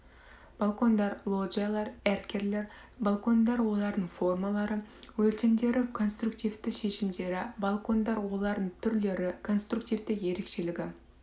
балкондар лоджиялар эркерлер балкондар олардың формалары өлшімдері конструктивті шешімдері балконлар олардың түрлері конструктивті ерекшілігі